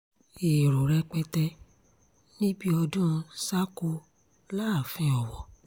èrò rẹpẹtẹ níbi ọdún ṣàkò láàfin ọwọ́